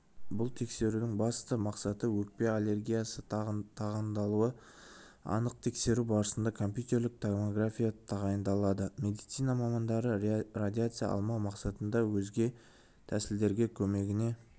бұл тексерудің басты мақсаты өкпе артериясы тығындалуын анықтау тексеру барысында компьютерлік томография тағайындалады медицина мамандары радиация алмау мақсатында өзге тәсілдердің көмегіне